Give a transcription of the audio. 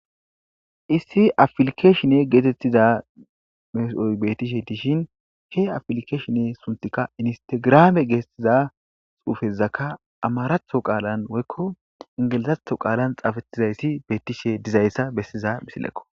issi afilkeshinne geetettiza mes7oy bettishe diishin ke afilkeshinne suntikka instegrame geestiza xuufezakka amaratho qaalan woykko ingelizatho qaalan xaafatizayssi beettishe dizayssa bessiza misilekko